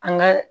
An ka